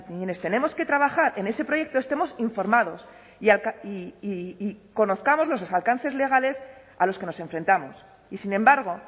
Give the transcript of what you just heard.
quienes tenemos que trabajar en ese proyecto estemos informados y conozcamos los alcances legales a los que nos enfrentamos y sin embargo